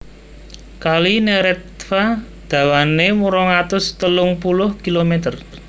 Kali Neretva dawané rong atus telung puluh kilomèter